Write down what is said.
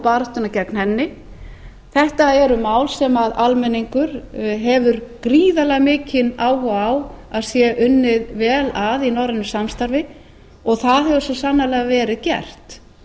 baráttuna gegn henni þetta eru mál sem almenningur hefur gríðarlega mikinn áhuga á að sé unnið vel að í norrænu samstarfi það hefur svo sannarlega verið gert